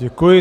Děkuji.